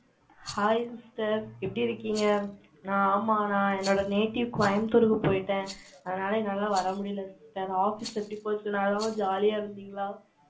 hi sister. எப்படி இருக்கீங்க? நான் ஆமா, நான் என்னோட native கோயம்புத்தூருக்கு போயிட்டேன். அதனால, என்னால வர முடியலை sister Office எப்படி போச்சு? நான் இல்லாம, jolly யா இருந்தீங்களா